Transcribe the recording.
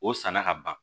O sanna ka ban